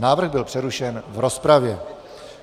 Návrh byl přerušen v rozpravě.